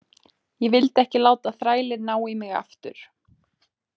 Ég vildi ekki láta þrælinn ná í mig aftur.